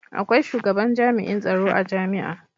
akwai shugaban jami'in tsaro a jami'a